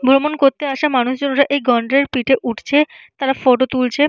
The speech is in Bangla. ভ্রমণ করতে আসা মানুষ জনেরা এই গন্ডারের পিঠে উঠছে। তারা ফটো তুলছে।